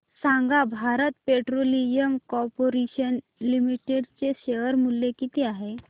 सांगा Bharat petroleum corporation limited चे share मूल्य किती आहे